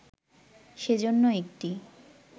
সেজন্য একটি